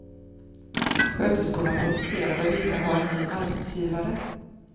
Sköterskorna protesterade och ville ha en ny arbetsgivare.